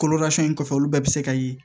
in kɔfɛ olu bɛɛ bɛ se ka ye